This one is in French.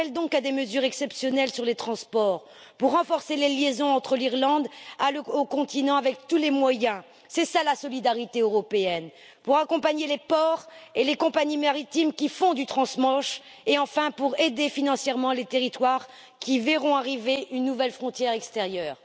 J'en appelle donc à des mesures exceptionnelles sur les transports, pour renforcer les liaisons entre l'Irlande et le continent par tous les moyens c'est cela la solidarité européenne pour accompagner les ports et les compagnies maritimes qui font du transmanche et enfin pour aider financièrement les territoires qui verront apparaître une nouvelle frontière extérieure.